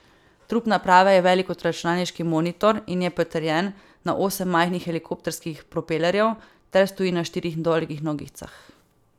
Trup naprave je velik kot računalniški monitor in je pritrjen na osem majhnih helikopterskih propelerjev ter stoji na štirih dolgih nogicah.